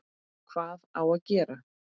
Hvað á gera?